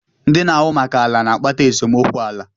ndị na-ahụ maka ala na-akpata esemokwu ala.